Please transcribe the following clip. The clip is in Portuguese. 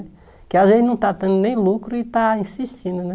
Que a gente não está tendo nem lucro e está insistindo, né?